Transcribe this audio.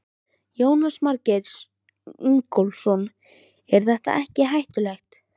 Jónas Margeir Ingólfsson: Er þetta ekkert hættulegt?